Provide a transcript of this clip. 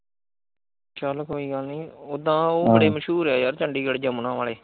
ਚਾਲ ਕੋਈ ਗੱਲ ਨੀ ਓਦਾ ਉਹ ਬੜੇ ਮਸ਼ਹੂਰ ਹੈ ਯਾਰ ਚੰਡੀਗੜ ਯਮੁਨਾ ਵਾਲੇ।